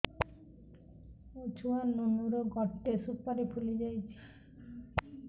ମୋ ଛୁଆ ନୁନୁ ର ଗଟେ ସୁପାରୀ ଫୁଲି ଯାଇଛି